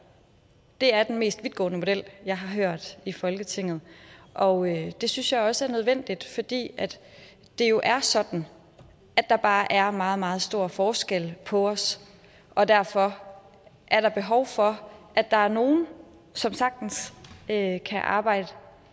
det er den mest vidtgående model jeg har hørt i folketinget og det synes jeg også er nødvendigt fordi det jo er sådan at der bare er meget meget store forskelle på os og derfor er der behov for at der er nogle som sagtens kan arbejde